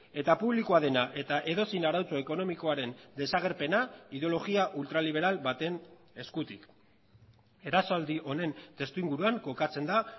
eta publikoa dena eta edozein arautze ekonomikoaren desagerpena ideologia ultra liberal baten eskutik erasoaldi honen testuinguruan kokatzen da